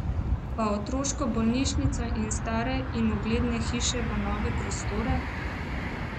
Pa otroško bolnišnico iz stare in ugledne hiše v nove prostore?